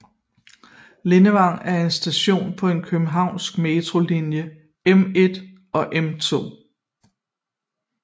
Lindevang er en station på den københavnske Metros linje M1 og M2